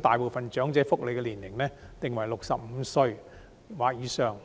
大部分長者福利的申請年齡定為65歲或以上。